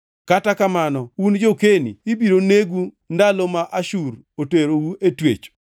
kata kamano un jo-Keni ibiro negu ndalo ma Ashur oterou e twech.”